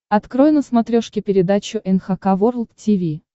открой на смотрешке передачу эн эйч кей волд ти ви